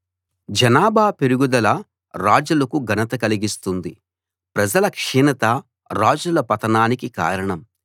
జనాభా పెరుగుదల రాజులకు ఘనత కలిగిస్తుంది ప్రజల క్షీణత రాజుల పతనానికి కారణం